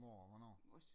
Hvor og hvornår?